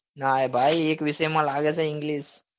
નાં રે ભાઈ એક વિષય માં લાગે છે english